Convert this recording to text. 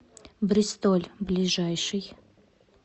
бристоль ближайший